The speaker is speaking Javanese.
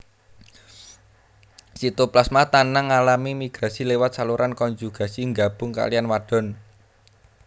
Sitoplasma tanang ngalami migrasi liwat saluran konjugasi nggabung kaliyan wadon